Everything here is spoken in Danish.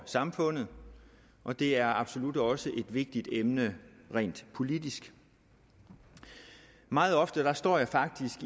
samfundet og det er absolut også et vigtigt emne rent politisk meget ofte står jeg faktisk